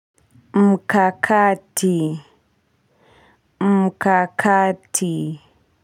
Mkakati mkakati.